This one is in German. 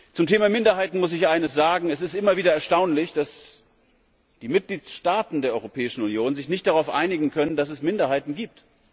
Zum Thema Minderheiten muss ich eines sagen Es ist immer wieder erstaunlich, dass die Mitgliedstaaten der Europäischen Union sich nicht darauf einigen können, dass es Minderheiten gibt.